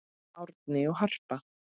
Árni og Harpa.